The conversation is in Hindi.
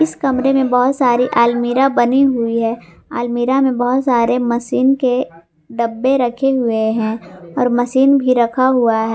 इस कमरे में बहुत सारी अलमीरा बनी हुई है अलमीरा में बहुत सारे मशीन के डब्बे रखे हुए हैं और मशीन भी रखा हुआ है।